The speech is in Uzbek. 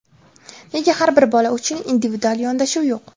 Nega har bir bola uchun individual yondashuv yo‘q?